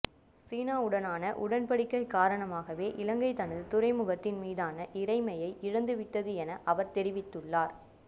சீனாவுடான உடன்படிக்கை காரணமாகவே இலங்கை தனது துறைமுகத்தின் மீதான இறைமையை இழந்துவிட்டது என அவர் தெரிவித்துள்ளார்